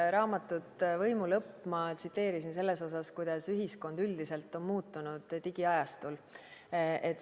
Raamatut "Võimu lõpp" tsiteerisin ma selles osas, kuidas ühiskond üldiselt on digiajastul muutunud.